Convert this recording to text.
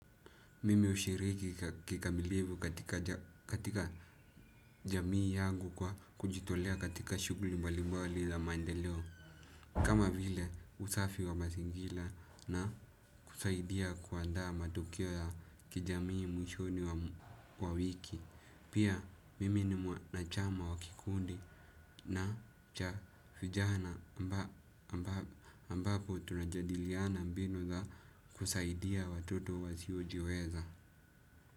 Mimi hushiriki kikamilivu katika jamii yangu kwa kujitolea katika shughli mbalimbali za maendeleo. Kama vile usafi wa mazingira na kusaidia kuandaa matokeo ya kijamii mwishoni wa wiki. Pia mimi ni mwanachama wa kikundi na cha vijana ambapo tunajadiliana mbinu za kusaidia watoto wasiojiweza.